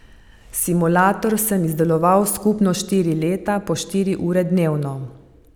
Simulator sem izdeloval skupno štiri leta po štiri ure dnevno.